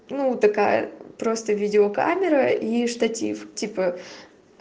ну такая просто видеокамера и штатив типа